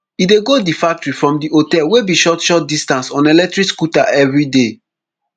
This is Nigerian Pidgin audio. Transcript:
e dey go di factory from di hotel wey be short short distance on electric scooter everyday